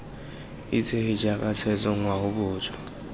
itsege jaaka setso ngwao boswa